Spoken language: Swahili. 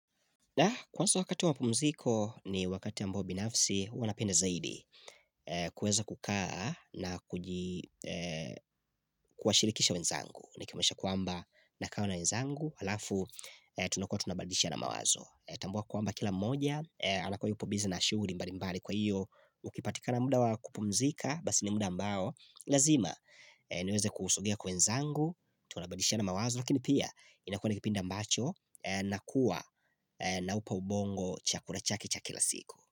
Na kwanza wakati wa pumziko ni wakati ambao binafsi huwa napenda zaidi kueza kukaa na kuwashirikisha wenzangu Nikimaanisha kwamba nakaa na wenzangu Halafu tunakua tunabadilishana mawazo. Natambua kwamba kila mmoja anakua yupo busy na shughuli mbali mbali kwa hiyo Ukipatikana muda wa kupumzika, basi ni muda ambao lazima niweze kusongea kwa wenzangu tunabadilishana mawazo lakini pia inakua ni kipindi ambacho na kuwa naupa ubongo chakula chake cha kila siku.